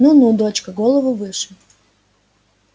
ну ну дочка голову выше